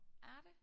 Er det?